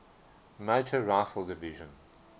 motor rifle division